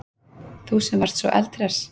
Þú sem varst svo eldhress.